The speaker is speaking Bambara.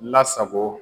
Lasago